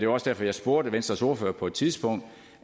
også derfor jeg spurgte venstres ordfører på et tidspunkt